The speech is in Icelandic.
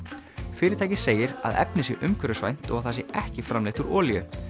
fyrirtækið segir að efnið sé umhverfisvænt og að það sé ekki framleitt úr olíu